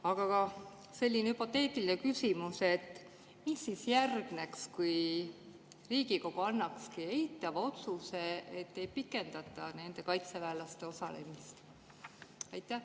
Aga selline hüpoteetiline küsimus: mis siis järgneks, kui Riigikogu eitava otsuse, et ei pikendata nende kaitseväelaste osalemist?